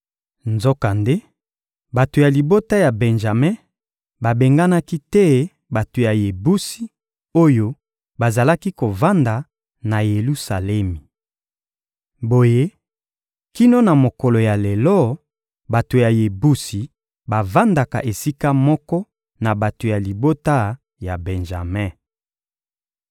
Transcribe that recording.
Nzokande, bato ya libota ya Benjame babenganaki te bato ya Yebusi oyo bazalaki kovanda na Yelusalemi. Boye, kino na mokolo ya lelo, bato ya Yebusi bavandaka esika moko na bato ya libota ya Benjame.